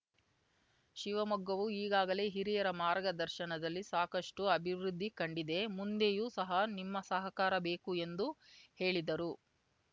ಶಿವಮೊಗ್ಗವು ಈಗಾಗಲೇ ಹಿರಿಯರ ಮಾರ್ಗದರ್ಶನದಲ್ಲಿ ಸಾಕಷ್ಟುಅಭಿವೃದ್ಧಿ ಕಂಡಿದೆ ಮುಂದೆಯೂ ಸಹ ನಿಮ್ಮ ಸಹಕಾರ ಬೇಕು ಎಂದು ಹೇಳಿದರು